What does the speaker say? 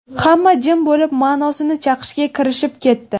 Hamma jim bo‘lib, ma’nosini chaqishga kirishib ketdi.